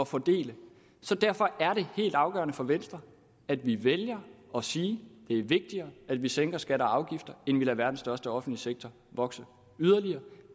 fordele derfor er det helt afgørende for venstre at vi vælger at sige det er vigtigere at vi sænker skatter og afgifter end at vi lader verdens største offentlige sektor vokse yderligere